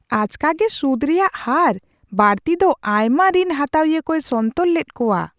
ᱟᱪᱠᱟᱜᱮ ᱥᱩᱫᱷ ᱨᱮᱭᱟᱜ ᱦᱟᱨ ᱵᱟᱹᱲᱛᱤ ᱫᱚ ᱟᱭᱢᱟ ᱨᱤᱱ ᱦᱟᱛᱟᱣᱤᱭᱟᱹ ᱠᱚᱭ ᱥᱚᱱᱛᱚᱨ ᱞᱮᱫ ᱠᱚᱣᱟ ᱾